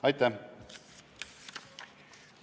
Aitäh!